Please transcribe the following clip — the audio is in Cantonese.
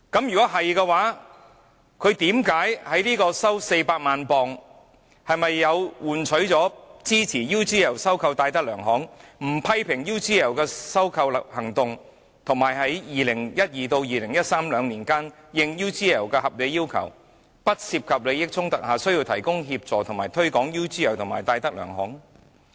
若是，他收取400萬英鎊，是否換取他支持 UGL 收購戴德梁行、不批評 UGL 的收購行動，以及在2012年至2013年兩年期間，應 UGL 的合理要求，在不涉及利益衝突下，需要提供協助以推廣 UGL 及戴德梁行？